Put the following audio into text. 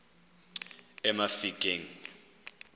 emafikeng